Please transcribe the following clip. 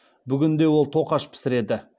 бүгінде ол тоқаш пісіреді